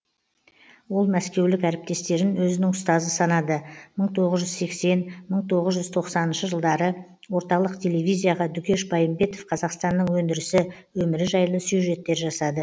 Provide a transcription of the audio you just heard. ол мәскеулік әріптестерін өзінің ұстазы санады мың тоғыз жүз сексен мың тоғыз жүз тоқсаныншы жылдары орталық телевизияға дүкеш байымбетов қазақстанның өндірісі өмірі жайлы сюжеттер жасады